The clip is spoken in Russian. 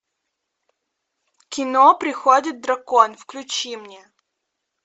кино приходит дракон включи мне